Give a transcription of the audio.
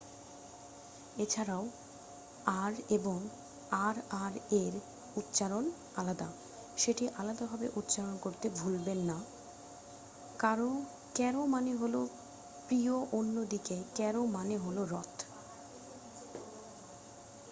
এছাড়াও ,আর এবং আর আর এর উচ্চারণ আলাদা ,সেটি আলাদা ভাবে উচ্চারণ করতে ভুলবেন না :ক্যারো মানে হলো প্রিয় অন্য দিকে ক্যারো মানে হলো রথ।